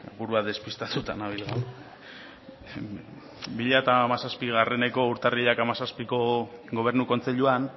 burua despitatuta nabil gaur bi mila hamazazpieko urtarrilak hamazazpiko gobernu kontseiluan